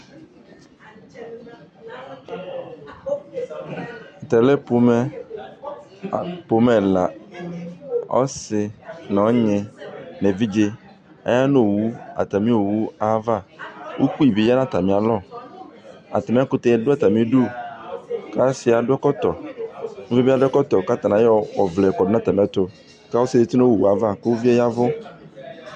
Tɛ lɛ pomɛ, pomɛ ɛla Ɔsɩ nʋ ɔnyɩ nʋ evidze Aya nʋ owʋ, atamɩ owʋ ayʋ ava Ukpi bi ya nʋ ayamɩ alɔ Atamɩ ɛkʋtɛ yɛ dʋ atamɩ ɩdʋ, kʋ ɔsɩ yɛ adʋ ɛkɔtɔ Uvi yɛ bɩ adʋ ɛkɔtɔ, kʋ atanɩ ayɔ ɔvlɛ yɔ kɔdʋ atamɩ ɛtʋ ; kʋ ɔsɩ yɛ etu nʋ owʋ yɛ ava, kʋ uvi yɛ yavʋ